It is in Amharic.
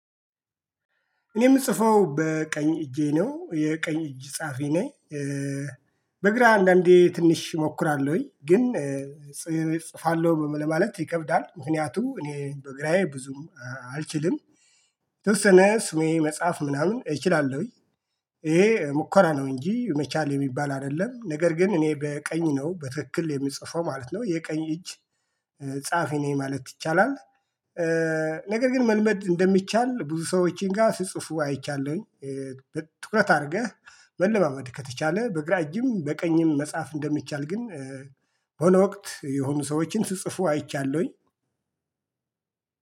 እኔ የምጽፈው በቀኝ እጄ ነው የቀኝ እጅ ጸሃፊ ነኝ። በግራ አንዳንዴ ትንሽ እሞክራለሁኝ ግን እጽፋለሁ ለማለት ይከብዳል ምክንያቱም እኔ በግራዬ ብዙም አልችልም። የተወሰነ ስሜ መጻፍ ምናምን እችላለሁኝ። ይሄ ሙከራ ነው እንጂ መቻል የሚባል አይደለም ነገር ግን እኔ በቀኝ ነው በትክክል የምጽፈው ማለት ነው የቀኝ እጅ ጸሃፊ ነኝ ማለት ይቻላል። ነገር ግን መልመድ እንደሚቻል ብዙ ሰዎችን ጋር ሲጽፉ አይቻለሁኝ። ትኩረት አድርገህ መለማመድ ከተቻለ በግራ እጅም በቀኝም መጻፍ እንደሚቻል ግን በሆነ ወቅት የሆኑ ሰዎችን ሲጽፉ አይቻለሁኝ።